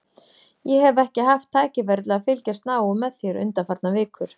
Ég hef ekki haft tækifæri til að fylgjast náið með þér undanfarnar vikur.